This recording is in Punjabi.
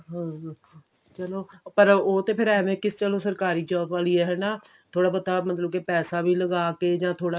ਹਮ ਚੱਲੋ ਪਰ ਉਹ ਤਾਂ ਐਵੇਂ ਕਿ ਚਲੋ ਸਰਕਾਰੀ job ਵਾਲੀ ਹੈ ਹਨਾ ਥੋੜਾ ਬਹੁਤ ਮਤਲਬ ਕੀ ਪੈਸਾ ਵੀ ਲਗਾ ਕੇ ਜਾਂ ਥੋੜਾ